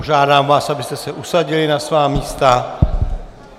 Požádám vás, abyste se usadili na svá místa.